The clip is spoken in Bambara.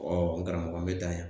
n karamɔgɔ n bɛ dan yan.